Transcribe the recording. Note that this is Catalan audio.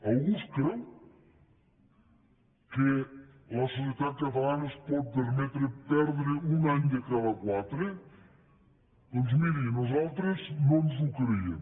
algú es creu que la societat catalana es pot permetre perdre un any de cada quatre doncs miri nosaltres no ens ho creiem